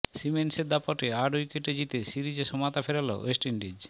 সিমন্সের দাপটে আট উইকেটে জিতে সিরিজে সমতা ফেরাল ওয়েস্ট ইন্ডিজ